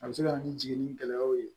A bɛ se ka na ni jiginni gɛlɛyaw ye